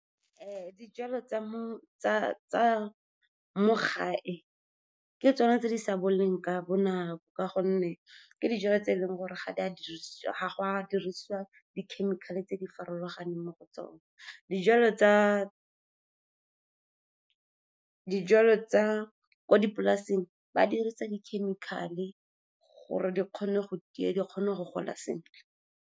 Dijalo tsa me tsa mo gae ke tsone tse di sa boleng ka bonako, ka gonne ke dijalo tse e leng gore ga go a diriswa di-chemical-e tse di farologaneng mo go tsone. Dijalo tsa ko dipolaseng ba dirisa di-chemical-e gore di kgone go tia, di kgone go gola sentle.